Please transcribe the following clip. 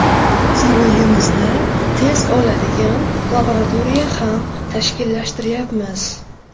Saroyimizda test oladigan laboratoriya ham tashkillashtiryapmiz.